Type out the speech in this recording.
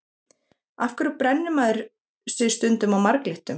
af hverju brennir maður sig stundum á marglyttum